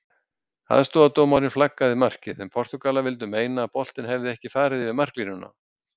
Aðstoðardómarinn flaggaði markið en Portúgalar vildu meina að boltinn hefði ekki farið yfir marklínuna.